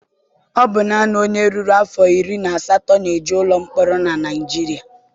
Ọ bụ naanị onye ruru afọ iri na asatọ na-eje ụlọ mkpọrọ na Naịjirịa.